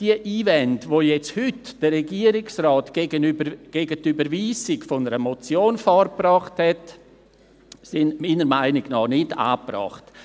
» Die Einwände, die der Regierungsrat jetzt heute gegen die Überweisung einer Motion vorgebracht hat, sind meiner Meinung nach nicht angebracht.